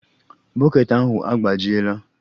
Bọket ahụ agbajiela